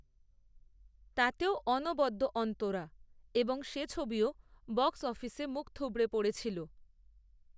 তাতেও অনবদ্য অন্তরা এবং সে ছবিও বক্স অফিসে মুখ থুবড়ে পড়েছিল